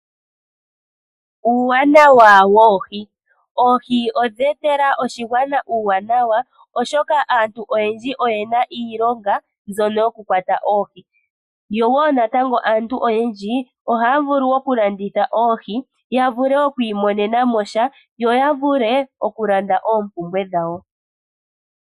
Oohi odha etela oshigwana uuwanawa oshoka aantu oyendji oye na iilonga mbyono yo ku kwata oohi. Aantu oyendji oha ya vulu oku landitha oohi, ya wape ya imonenesha shomondjato yo ya vule oku landa oompumbwe dhawo.